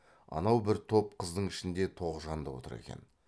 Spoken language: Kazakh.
анау бір топ қыздың ішінде тоғжан да отыр екен